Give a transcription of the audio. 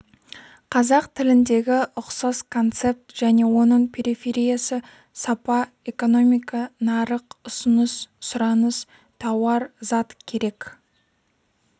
қазақ тіліндегі ұқсас концепт және оның перифериясы сапа экономика нарық ұсыныс сұраныс тауар зат керек